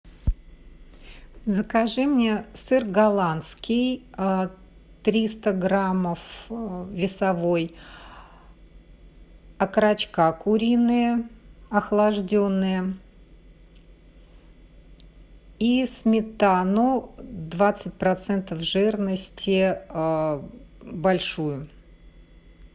закажи мне сыр голландский триста граммов весовой окорочка куриные охлажденные и сметану двадцать процентов жирности большую